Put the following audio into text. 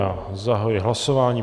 Já zahajuji hlasování.